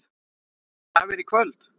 Fæ ég gjafir í kvöld?